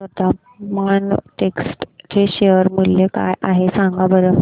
आज वर्धमान टेक्स्ट चे शेअर मूल्य काय आहे सांगा बरं